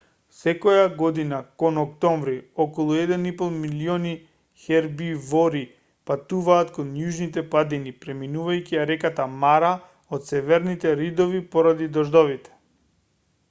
секоја година кон октомври околу 1,5 милиони хербивори патуваат кон јужните падини преминувајќи ја реката мара од северните ридови поради дождовите